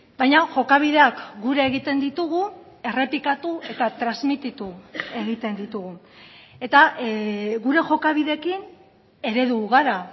baina jokabideak gure egiten ditugu errepikatu eta transmititu egiten ditugu eta gure jokabideekin eredu gara